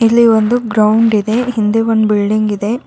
ಇಲ್ಲಿ ಒಂದು ಗ್ರೌಂಡ್ ಇದೆ ಹಿಂದೆ ಒಂದ ಬಿಲ್ಡಿಂಗ್ ಇದೆ.